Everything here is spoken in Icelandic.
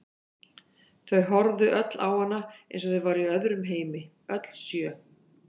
Þau horfðu öll á hana eins og þau væru í öðrum heimi, öll sjö.